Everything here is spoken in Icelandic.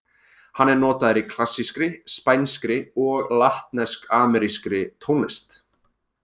Hann er notaður í klassískri, spænskri og latnesk-amerískri tónlist.